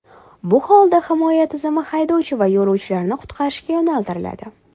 Bu holda himoya tizimi haydovchi va yo‘lovchilarni qutqarishga yo‘naltiriladi.